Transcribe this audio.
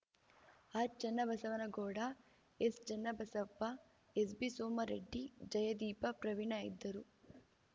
R Channabasavanagowda ಎಸ್‌ಚನ್ನಬಸಪ್ಪ SB Soma Reddy ಜಯದೀಪ Praveen ಇದ್ದರು